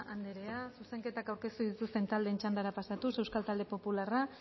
andrea zuzenketak aurkeztu dituzten taldeen txandara pasatuz euskal talde popularra